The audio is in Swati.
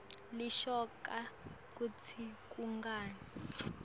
leshoko kutsi kungani